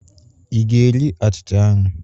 Ị ga-eri achịcha ahụ?